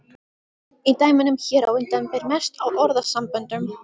Í dæminu hér á undan ber mest á orðasamböndum.